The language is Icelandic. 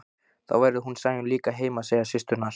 Þá verður hún Sæunn líka heima, segja systurnar.